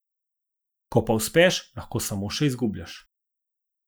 Ko pa uspeš, lahko samo še izgubljaš.